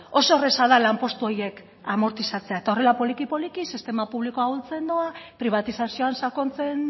oso erraza da lanpostu horiek amortizatzea eta horrela poliki poliki sistema publikoa ahultzen doa pribatizazioan sakontzen